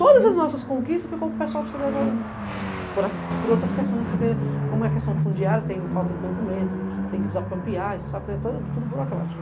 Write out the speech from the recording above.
Todas as nossas conquistas ficam para o pessoal do cê dê agá u, por outras questões, porque como é questão fundiária, tem falta de documento, tem que desapropriar, é tudo burocrático.